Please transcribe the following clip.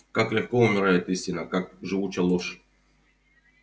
как легко умирает истина как живуча ложь